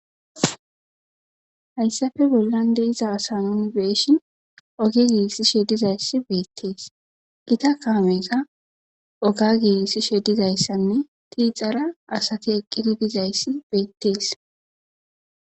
hayssafe bollan de7iza asanun be7ishin oge giigisishe sheddizayssi beettees gita kaameyka oga giisi shedizayssanne tiixara asati eqqidi dizayssi beettees